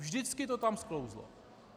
Vždycky to tam sklouzlo.